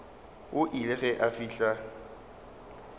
o ile ge a fihla